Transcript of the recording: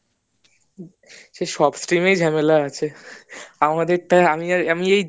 সেই সব stream এই ঝামেলা আছে আমাদের টায় আমি এই